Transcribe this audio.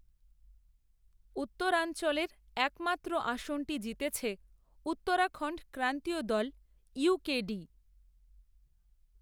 উত্তরাঞ্চলের, এক মাত্র আসনটি জিতেছে, উত্তরাখণ্ড ক্রান্তীয় দল, ইউ, কে ডি